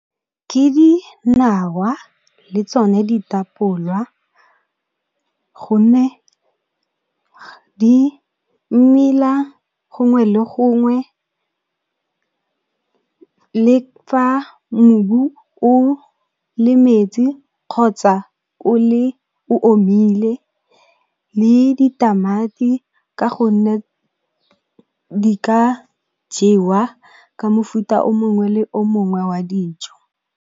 Ke dinawa le tsone ditapolwa, gonne di mela gongwe le gongwe, le fa mobu o le metsi kgotsa o omile, le ditamati ka gonne di ka jewa ka mofuta o mongwe le o mongwe wa dijo.